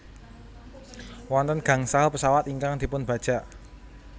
Wonten gangsal pesawat ingkang dipunbajak